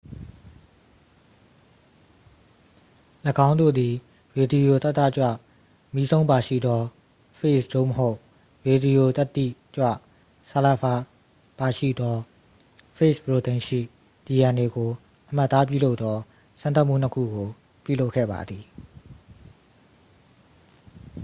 ၎င်းတို့သည် ရေဒီယိုသတ္တကြွမီးစုန်းပါရှိသော ဖေ့ဂျ် သို့မဟုတ် ရေဒီယိုသတ္တိကြွဆာလဖာပါရှိသောဖေ့ဂျ်ပရိုတိန်းရှိ dna ကို အမှတ်အသားပြုလုပ်သောစမ်းသပ်မှု နှစ် ခုကို ပြုလုပ်ခဲ့ပါသည်